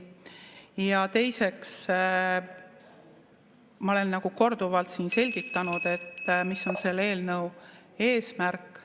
Ja teiseks, ma olen korduvalt siin selgitanud, mis on selle eelnõu eesmärk.